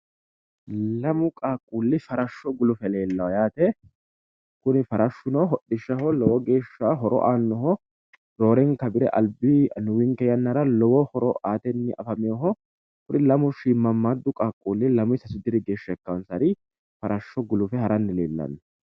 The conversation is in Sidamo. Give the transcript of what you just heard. Lamu qaaqquulli farashsho guluffe noota leellishshanno Kuni farashshuno lowo horo hodhishaho aannoho roorenkanni bire annuwinke yannara lamu shiimmammaaddu qaaqquulli farashsho guluffe haranni noota xawissanno misileeti yaate.